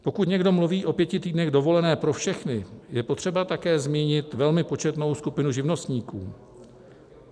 Pokud někdo mluví o pěti týdnech dovolené pro všechny, je potřeba také zmínit velmi početnou skupinu živnostníků.